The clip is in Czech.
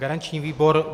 Garanční výbor?